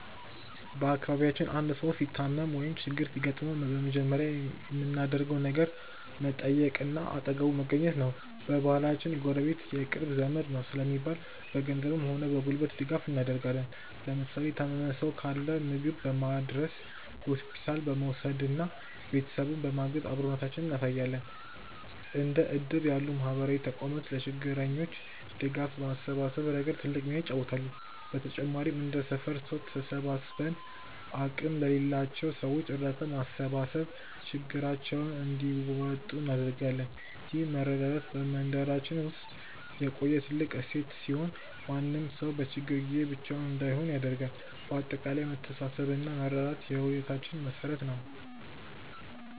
በአካባቢያችን አንድ ሰው ሲታመም ወይም ችግር ሲገጥመው በመጀመሪያ የምናደርገው ነገር መጠየቅና አጠገቡ መገኘት ነው። በባህላችን "ጎረቤት የቅርብ ዘመድ ነው" ስለሚባል፣ በገንዘብም ሆነ በጉልበት ድጋፍ እናደርጋለን። ለምሳሌ የታመመ ሰው ካለ ምግብ በማድረስ፣ ሆስፒታል በመውሰድና ቤተሰቡን በማገዝ አብሮነታችንን እናሳያለን። እንደ እድር ያሉ ማህበራዊ ተቋማትም ለችግረኞች ድጋፍ በማሰባሰብ ረገድ ትልቅ ሚና ይጫወታሉ። በተጨማሪም እንደ ሰፈር ሰው ተሰባስበን አቅም ለሌላቸው ሰዎች እርዳታ በማሰባሰብ ችግራቸውን እንዲወጡ እናደርጋለን። ይህ መረዳዳት በመንደራችን ውስጥ የቆየ ትልቅ እሴት ሲሆን፣ ማንም ሰው በችግር ጊዜ ብቻውን እንዳይሆን ያደርጋል። በአጠቃላይ መተሳሰብና መረዳዳት የህይወታችን መሠረት ነው።